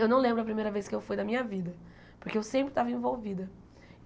Eu não lembro a primeira vez que eu fui na minha vida, porque eu sempre estava envolvida.